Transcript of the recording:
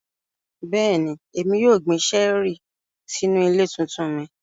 Bẹ́ẹ̀ni, Emi yóò gbin ṣẹẹri sinu ile tuntun mi.